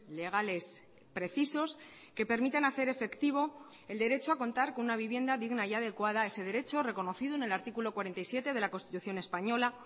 legales precisos que permitan hacer efectivo el derecho a contar con una vivienda digna y adecuada ese derecho reconocido en el artículo cuarenta y siete de la constitución española